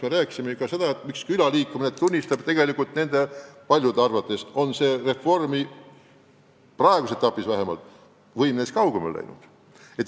Me oleme ikka rääkinud, et külaliikumine tunnistab tegelikult, et nende paljude arvates on reformi praeguses etapis võim neist kaugemale läinud.